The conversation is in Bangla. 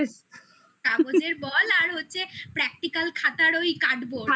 কাগজের বল আর হচ্ছে practical খাতার ওই cardboard